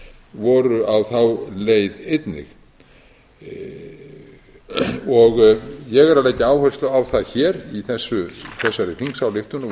voru á þá leið einnig ég er að leggja áherslu á það hér í þessari þingsályktun og við